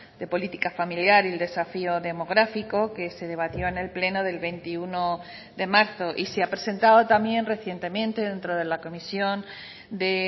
de política familiar y el desafío demográfico que se debatió en el pleno del veintiuno de marzo y se ha presentado también recientemente dentro de la comisión de